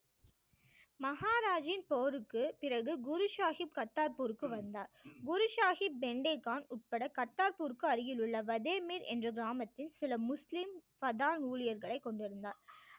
போருக்கு பிறகு குரு சாஹிப் கத்தார்பூருக்கு வந்தார் குரு சாஹிப், பெயிண்டே கான் உட்பட கத்தார்பூருக்கு அருகில் உள்ள வதேமேல் என்ற கிராமத்தில் சில முஸ்லிம் பதான் ஊழியர்களை கொண்டிருந்தான்